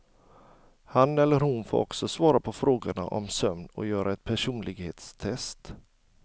Han eller hon får också svara på frågor om sömn och göra ett personlighetstest.